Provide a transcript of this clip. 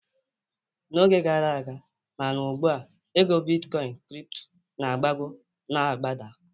N'oge gara aga ma na ugbua, ego bitkọin kripto na-agbago na-agbada